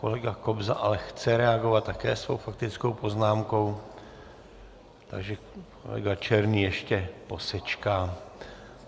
Kolega Kobza ale chce reagovat také svou faktickou poznámkou, takže kolega Černý ještě posečká.